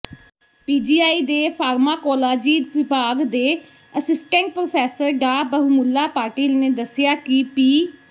PGI ਦੇ pharmacology ਵਿਭਾਗ ਦੇ ਅਸੀਸਟੈਂਟ ਪ੍ਰੋਫੈਸਰ ਡਾ ਬਹੁਮੁੱਲਾ ਪਾਟਿਲ ਨੇ ਦੱਸਿਆ ਕਿ ਪੀ